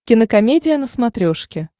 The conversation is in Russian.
кинокомедия на смотрешке